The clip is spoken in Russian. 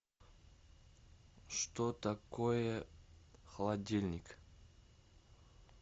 что такое холодильник